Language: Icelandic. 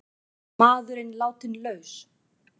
Maðurinn látinn laus